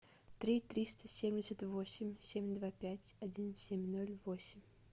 три триста семьдесят восемь семь два пять один семь ноль восемь